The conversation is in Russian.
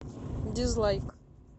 дизлайк